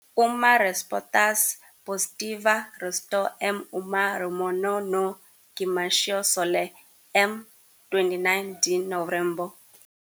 Uma resposta positiva resultou em uma reunião no "Gimnasio Solé", em 29 de novembro.